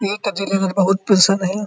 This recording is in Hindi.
इन में बहोत पेंशन है।